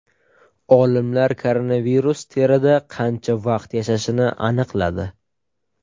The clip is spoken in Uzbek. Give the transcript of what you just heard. Olimlar koronavirus terida qancha vaqt yashashini aniqladi.